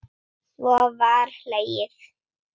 Svo var hlegið.